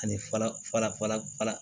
Ani fara fara